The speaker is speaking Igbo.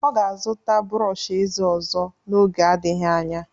Ọ ga-azụta brọọsh ezé ọzọ n'oge adịghị anya.